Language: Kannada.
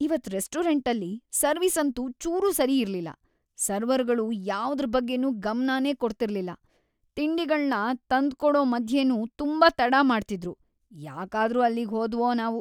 ಇವತ್ ರೆಸ್ಟೋರೆಂಟಲ್ಲಿ ಸರ್ವಿಸ್‌ ಅಂತೂ ಚೂರೂ ಸರಿಯಿರ್ಲಿಲ್ಲ. ಸರ್ವರ್‌ಗಳು ಯಾವ್ದ್ರ ಬಗ್ಗೆನೂ ಗಮ್ನನೇ ಕೊಡ್ತಿರ್ಲಿಲ್ಲ, ತಿಂಡಿಗಳ್ನ ತಂದ್ಕೊಡೋ ಮಧ್ಯೆನೂ ತುಂಬಾ ತಡ ಮಾಡ್ತಿದ್ರು. ಯಾಕಾದ್ರೂ ಅಲ್ಲಿಗ್ ಹೋದ್ವೋ‌ ನಾವು.